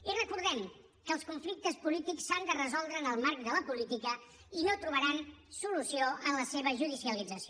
i recordem que els conflictes polítics s’han de resoldre en el marc de la política i no trobaran solució en la seva judicialització